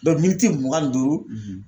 miniti mugan ni duuru